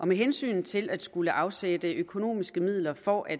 med hensyn til at skulle afsætte økonomiske midler for at